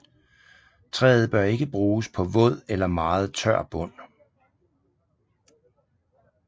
Træet bør ikke bruges på våd eller meget tør bund